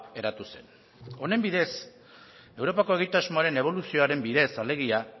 eratu zen honen bidez europako egitasmoaren eboluzioaren bidez alegia